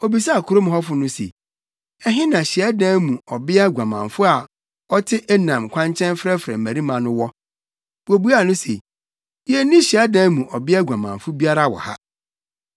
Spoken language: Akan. Obisaa kurom hɔfo no se, “Ɛhe na hyiadan mu ɔbea guamanfo a na ɔte Enaim kwankyɛn frɛfrɛ mmarima no wɔ?” Wobuaa no se, “Yenni hyiadan mu ɔbea guamanfo biara wɔ ha.”